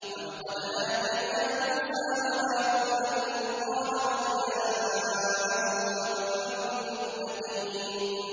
وَلَقَدْ آتَيْنَا مُوسَىٰ وَهَارُونَ الْفُرْقَانَ وَضِيَاءً وَذِكْرًا لِّلْمُتَّقِينَ